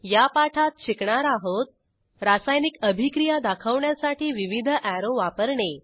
या पाठात शिकणार आहोत रासायनिक अभिक्रिया दाखवण्यासाठी विविध अॅरो वापरणे